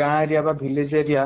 ଗାଁ area ର village area